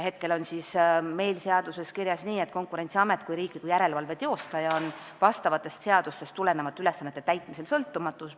Praegu on meil seaduses kirjas, et Konkurentsiamet kui riikliku järelevalve teostaja on vastavatest seadustest tulenevalt ülesannete täitmisel sõltumatu.